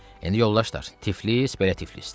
İndi yoldaşlar, Tiflis belə Tiflisdir.